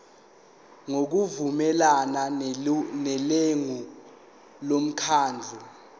ngokuvumelana nelungu lomkhandlu